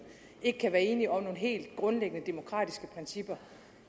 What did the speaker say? ikke kan være enige om nogle helt grundlæggende demokratiske principper